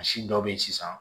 Misi dɔw be yen sisan